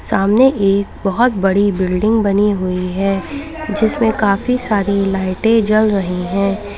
सामने एक बहुत बड़ी बिल्डिंग बनी हुई है जिसमें काफी सारी लाइटें जल रही हैं।